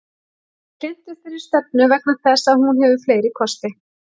Ég er hlynntur þeirri stefnu vegna þess að hún hefur fleiri kosti.